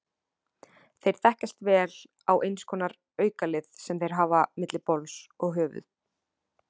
Þeir þekkjast vel á eins konar aukalið sem þeir hafa milli bols og höfuð.